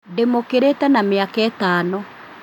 Ndĩmũkĩrĩte na mĩaka ĩtano